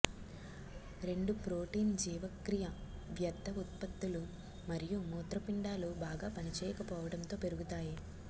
రెండు ప్రోటీన్ జీవక్రియ వ్యర్ధ ఉత్పత్తులు మరియు మూత్రపిండాలు బాగా పనిచేయకపోవడంతో పెరుగుతాయి